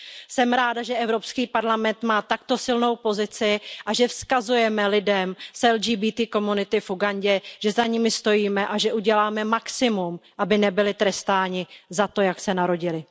Jsem ráda, že Evropský parlament má takto silnou pozici a že vzkazujeme lidem z LGBTI komunity v Ugandě, že za nimi stojíme a že uděláme maximum, aby nebyli trestáni za to, jak se narodili.